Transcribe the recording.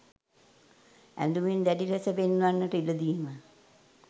ඇඳුමින් දැඩි ලෙස වෙන් වන්නට ඉඩ දීම